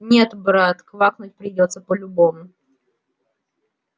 нет брат квакнуть придётся по-любому